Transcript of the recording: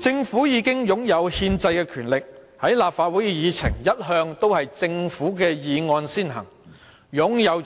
政府已經擁有憲制的權力，立法會的議程一向都是政府的議案先行，已是擁有